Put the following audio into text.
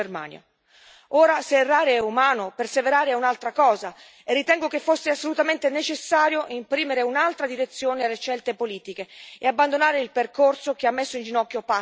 Ora, se errare è umano, perseverare è un'altra cosa, e ritengo che fosse assolutamente necessario imprimere un'altra direzione alle scelte politiche e abbandonare il percorso che ha messo in ginocchio parte dell'Europa.